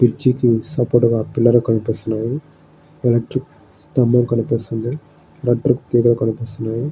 కుర్చీ కి సపోర్ట్ గా పిల్లర్ కనిపిస్తున్నాయి ఎలక్ట్రిక్ సంభం కనిపిస్తున్నది ఎలక్ట్రిక్ తీగలు కనిపిస్తున్నాయి.